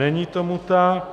Není tomu tak.